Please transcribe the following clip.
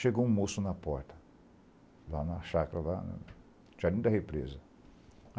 Chegou um moço na porta, lá na chácara lá, no da represa.